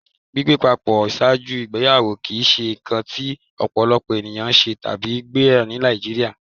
Gbigbé pàpọ̀ ṣáàjú igbèyàwó kí í ṣé nkàn tí ọ̀pọ̀lọ̀pọ̀ ènìyàn ṣé tàbí gbà ní Nàìjíríà.